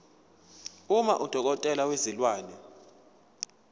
uma udokotela wezilwane